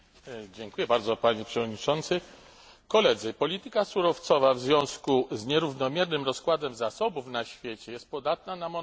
Panie Przewodniczący! Polityka surowcowa w związku z nierównomiernym rozkładem zasobów na świecie jest podatna na monopolizację.